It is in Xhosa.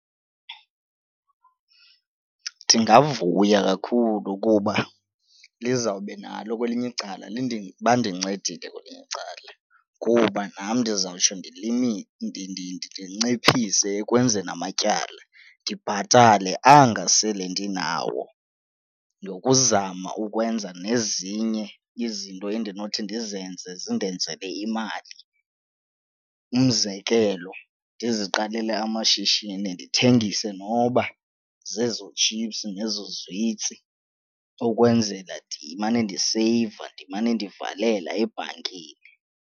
Ndingavuya kakhulu kuba lizawube nalo kwelinye icala bandincedile kwelinye icala kuba nam ndizawutsho ndinciphise ekwenzeni amatyala ndibhatale anga sele ndinawo nokuzama ukwenza nezinye izinto endinothi ndizenze zindenzele imali. Umzekelo, ndiziqalele amashishini, ndithengise noba zezo tshipsu nezo zwitsi ukwenzela ndimane ndiseyiva ndimane ndivalela ebhankini.